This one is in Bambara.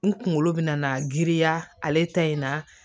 N kunkolo bɛna na giriya ale ta in na